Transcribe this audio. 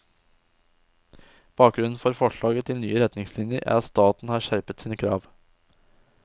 Bakgrunnen for forslaget til nye retningslinjer er at staten har skjerpet sine krav.